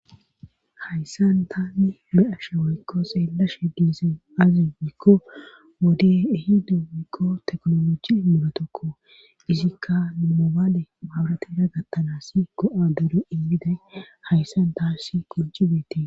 Hayssan taanni me ashe waykko seellashe diizin azi mikko wode ehido mikko teknoloji mulatokko izikka numobale mawuratida gattanas go,a dure inmiday hayssan taassi qonci beete.